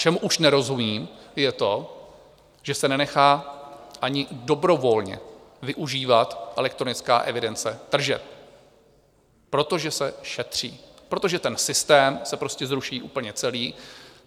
Čemu už nerozumím, je to, že se nenechá ani dobrovolně využívat elektronická evidence tržeb, protože se šetří, protože ten systém se prostě zruší úplně celý.